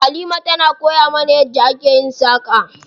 Halima tana koya mana yadda ake yin saƙa.